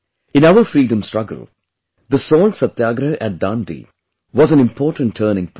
In our Freedom struggle, the salt satyagrah at Dandi was an important turning point